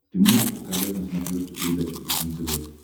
ты можешь показать на смотрешке передачу фэшен тв